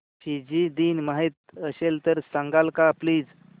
Fiji दिन माहीत असेल तर सांगाल का प्लीज